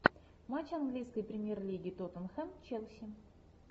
матч английской премьер лиги тоттенхэм челси